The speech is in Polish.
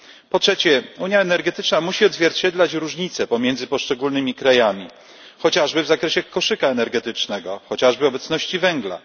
Po trzecie, unia energetyczna musi odzwierciedlać różnice pomiędzy poszczególnymi krajami chociażby w zakresie koszyka energetycznego, chociażby obecności węgla.